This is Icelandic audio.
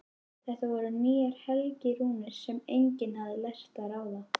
Þetta voru nýjar helgirúnir sem enginn hafði lært að ráða.